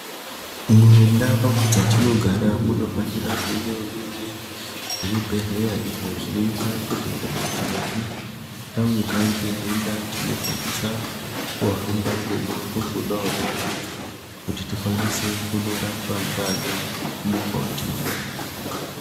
Mundau dzatinogara munofanira kunge muine zvibhedhleya izvo zvinoita kuti kana tikange tavirwa ngedenda tinokwanisa kuhamba mumango mudodori. Kuti tikwanise kundorapwa ngaana mukoti.